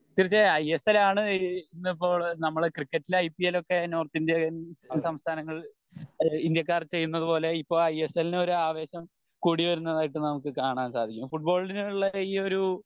തീർച്ചയായും I S L ആണ് ഇന്നിപ്പോ നമ്മളെ ക്രിക്കറ്റിൽ ഐ പി എൽ ഒക്കെ നോർത്ത് ഇന്ത്യൻ സംസ്ഥാനങ്ങൾ ഇന്ത്യക്കാർ ചെയ്യുന്നത് പോലെ ഇപ്പൊ ഐ എസ് എൽ ന്ന് ഒരു ആവേശം കൂടിവരുന്നതായിട്ട് നമുക്ക് കാണാൻ സാധിക്കും ഫുട്ബോളിന് ഉള്ള ഈ ഒരു